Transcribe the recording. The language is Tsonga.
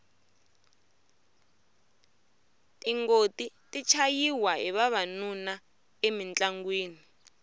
tingoti ti chayiwa hi vavanuna emintlangwini